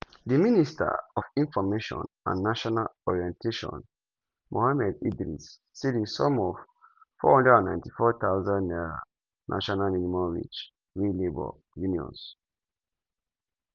di minister for information and national orientation mohammed idris say di sum of 494000 naira national minimum wage wey labour unions